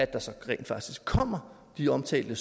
der så rent faktisk kommer de omtalte